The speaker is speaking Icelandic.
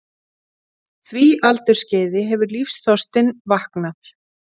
því aldursskeiði hefur lífsþorstinn vaknað.